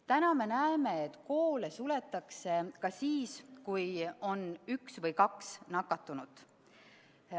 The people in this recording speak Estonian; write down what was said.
Täna me näeme, et koole suletakse ka siis, kui on üks või kaks nakatunut.